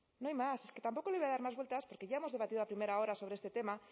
no hay más es que tampoco le voy a dar más vueltas porque ya hemos debatido a primera hora sobre este tema